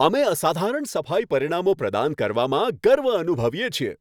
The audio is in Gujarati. અમે અસાધારણ સફાઈ પરિણામો પ્રદાન કરવામાં ગર્વ અનુભવીએ છીએ.